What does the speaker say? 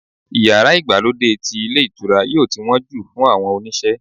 iyara Igbalode ti ilé ìtura yíò tí won ju fun àwọn oníṣe